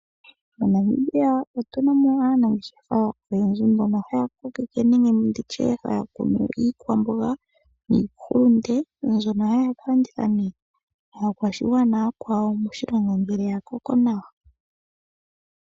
MoNamibia otunamo aanangeshefa oyendji mbono haya kunu iikwamboga niihulunde, mbyono haya ka landitha kaakwashigwana ooyakwawo moshilongo, ngele ya koko nawa.